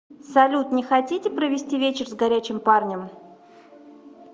салют не хотите провести вечер с горячем парнем